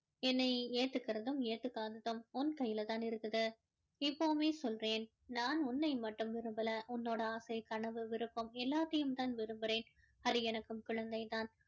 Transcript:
என்னை ஏத்துக்கறதும் ஏத்துக்காததும் உன் கையில தான் இருக்குது இப்போவுமே சொல்றேன் நான் உன்னை மட்டும் விரும்பல உன்னோட ஆசை கனவு விருப்பம் எல்லாத்தையும் தான் விருப்புறேன் அது எனக்கும் குழந்தை தான்